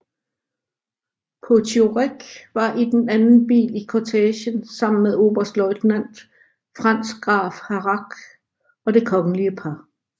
Potiorek var i den anden bil i kortegen sammen med oberstløjtnant Franz Graf Harrach og det kongelige par